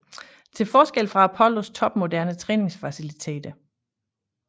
Til forskel fra Apollos topmoderne træning faciliteter